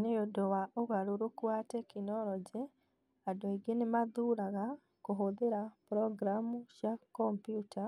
Nĩ ũndũ wa ũgarũrũku wa tekinoronjĩ, andũ aingĩ nĩ mathuuraga kũhũthĩra programu cia kompiuta